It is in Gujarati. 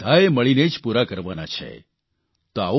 તેને આપણે બધાએ મળીને જ પૂરા કરવાના છે